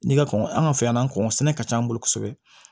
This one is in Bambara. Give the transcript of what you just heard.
N'i ka kɔn an ka fɛn na an kɔnna sɛnɛ ka ca an bolo kosɛbɛ